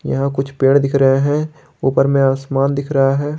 यहां कुछ पेड़ दिख रहे हैं ऊपर में आसमान दिख रहा है।